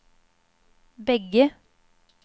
bägge